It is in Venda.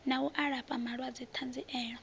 na u alafha vhalwadze ṱanziela